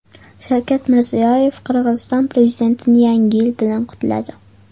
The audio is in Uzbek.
Shavkat Mirziyoyev Qirg‘iziston prezidentini Yangi yil bilan qutladi.